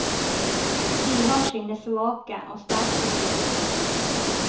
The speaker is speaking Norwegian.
De har sine svake og sterke sider.